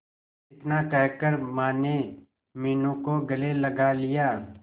इतना कहकर माने मीनू को गले लगा लिया